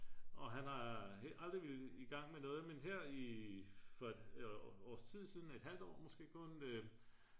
og han har aldrig villet igang med noget men her for et års tid siden et halvt år måske kun